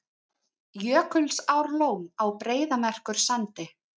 Jökulsárlón á Breiðamerkursandi.